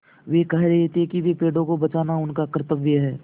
वे कह रहे थे कि पेड़ों को बचाना उनका कर्त्तव्य है